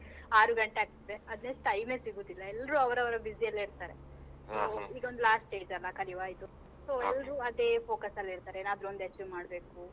ಆರು ಗಂಟೆ ಆಗ್ತದೆ ಅದ್ರ್ next time ಸಿಗುದಿಲ್ಲ ಎಲ್ರು ಅವರವರ busy ಅಲ್ಲೇ ಇರ್ತಾರೆ. ಈಗ ಒಂದು last stage ಅಲ್ಲ ಕಲಿಯುವ ಇದು. ಎಲ್ರು ಅದೇ focus ಅಲ್ ಇರ್ತಾರೆ ಏನಾದ್ರು ಒಂದು achieve ಮಾಡ್ಬೇಕು.